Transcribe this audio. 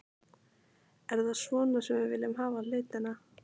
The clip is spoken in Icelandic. Er það svona sem við viljum hafa hlutina?